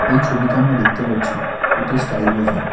এই ছবিতে আমরা দেখতে পারছি এটি স্টাইল বাজার ।